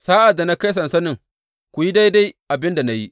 Sa’ad da na kai sansanin, ku yi daidai abin da na yi.